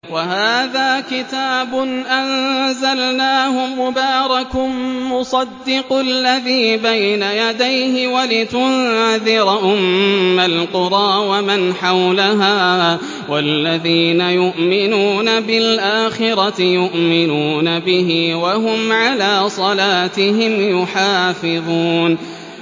وَهَٰذَا كِتَابٌ أَنزَلْنَاهُ مُبَارَكٌ مُّصَدِّقُ الَّذِي بَيْنَ يَدَيْهِ وَلِتُنذِرَ أُمَّ الْقُرَىٰ وَمَنْ حَوْلَهَا ۚ وَالَّذِينَ يُؤْمِنُونَ بِالْآخِرَةِ يُؤْمِنُونَ بِهِ ۖ وَهُمْ عَلَىٰ صَلَاتِهِمْ يُحَافِظُونَ